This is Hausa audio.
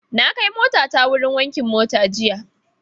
Na kai motata wurin wankin mota jiya.